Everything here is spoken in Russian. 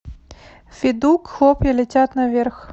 федук хлопья летят наверх